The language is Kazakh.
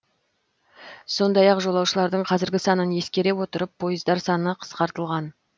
сондай ақ жолаушылардың қазіргі санын есекере отырып пойыздар саны қысқартылған